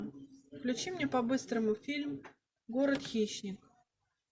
включи мне по быстрому фильм город хищник